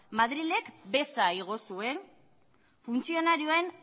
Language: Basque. madrilek besa igo zuen funtzionarioen